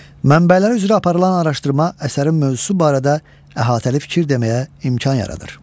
Mənbələr üzrə aparılan araşdırma əsərin mövzusu barədə əhatəli fikir deməyə imkan yaradır.